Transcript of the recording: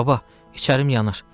Baba, içərim yanır.